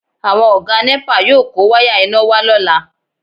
Àwọn Ọ̀gá nẹ́pà yóò kó wáyà iná wá lọ́la